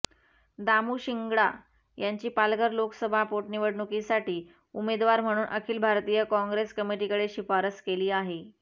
दामू शिंगडा यांची पालघर लोकसभा पोटनिवडणुकीसाठी उमेदवार म्हणून अखिल भारतीय कॉंग्रेस कमिटीकडे शिफारस केली आहे